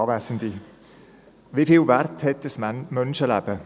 Wie viel Wert hat ein Menschenleben?